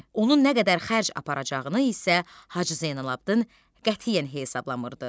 Onun nə qədər xərc aparacağını isə Hacı Zeynalabdın qətiyyən hesablamırdı.